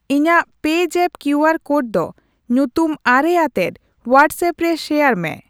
ᱤᱧᱟᱜ ᱯᱮᱡᱟᱯᱯ QR code ᱫᱚ ᱧᱩᱛᱩᱢᱼ᱙ ᱟᱛᱮᱫ ᱣᱟᱴᱥᱮᱯ ᱨᱮ ᱥᱮᱭᱟᱨ ᱢᱮ ᱾